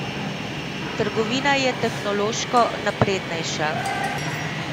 Trgovina je tehnološko naprednejša.